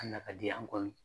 Hali n'a ka di an kɔni